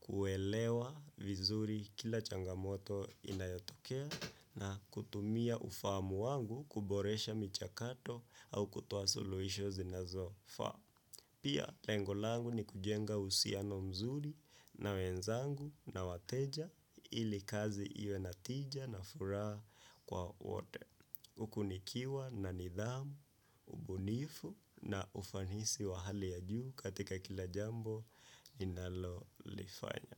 kuelewa vizuri kila changamoto inayotokea na kutumia ufahamu wangu kuboresha michakato au kutoa suluhisho zinazo faa. Pia lengo langu ni kujenga uhusiano mzuri na wenzangu na wateja ili kazi iwe na tija na furaha kwa wote. Kunikiwa na nidhamu, ubunifu na ufanisi wa hali ya juu katika kila jambo ninalolifanya.